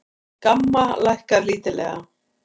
GAMMA lækkar lítillega